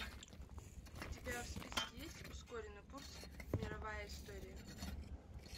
у тебя в списке есть ускоренный курс мировая история